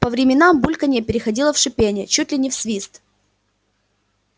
по временам бульканье переходило в шипение чуть ли не в свист